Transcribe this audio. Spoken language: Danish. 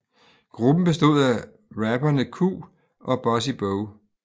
Gruppen bestod af rapperne Q og Bossy Bo